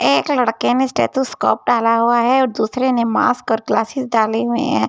ऐंक लड़के ने stethoscope डाला हुआ है और दूसरे ने मास्‍क और ग्‍लासेस डाले हुये हैं ।